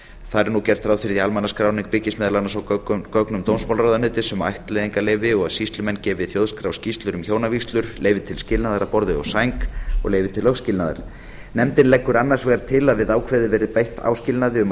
þar er nú gert ráð fyrir að almannaskráning byggist meðal annars á gögnum dómsmálaráðuneyti um ættleiðingarleyfi og sýslumenn gefi þjóðskrá skýrslur um hjónavígslur leyfi til skilnaðar að borði og sæng og leyfi til lögskilnaðar nefndin leggur annars vegar til að við ákvæðið verði bætt áskilnaði um að